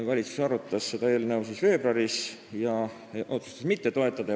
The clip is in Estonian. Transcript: Valitsus arutas seda eelnõu veebruaris ja otsustas mitte toetada.